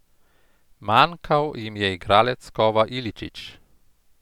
Manjkal jim je igralec kova Iličić.